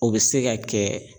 O bɛ se ka kɛ